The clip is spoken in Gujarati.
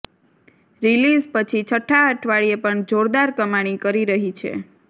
રિલીઝ પછી છઠ્ઠા અઠવાડિયે પણ જોરદાર કમાણી કરી રહી છે